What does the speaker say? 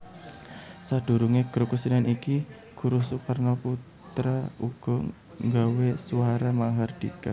Sadurunge grup kesenian iki Guruh Soekarnoputra uga nggawe Swara Mahardhika